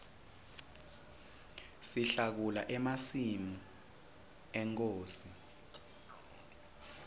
sihlakula emasimi enkhosi